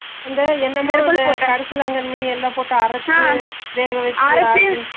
அந்த என்னன்னா கருசலாங்கன்னி